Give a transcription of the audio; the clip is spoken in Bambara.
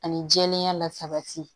Ani jɛlenya la sabati